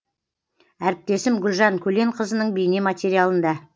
әріптесім гүлжан көленқызының бейне материалында